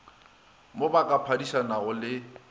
mo ba ka phadišanago le